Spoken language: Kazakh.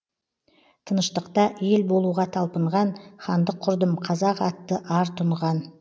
тыныштықта ел болуға талпынған хандық құрдым қазақ атты ар тұнған